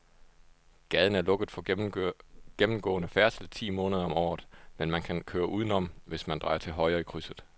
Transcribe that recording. Gaden er lukket for gennemgående færdsel ti måneder om året, men man kan køre udenom, hvis man drejer til højre i krydset.